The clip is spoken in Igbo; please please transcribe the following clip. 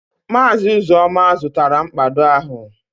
Maazị Uzoma zụtara mkpado ahụ